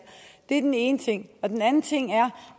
det er den ene ting den anden ting er